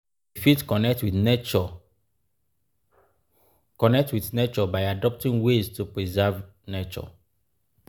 we fit connect with nature connect with nature by adopting ways to preserve nature